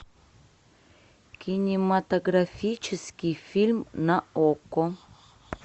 кинематографический фильм на окко